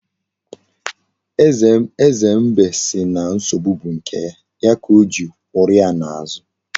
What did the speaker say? Eze mbe si na nsogbu bu nke ya, ya ka Ojiri kworo ya n'azu.